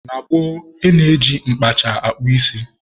Na gboo, e ji mkpacha akpụ isi.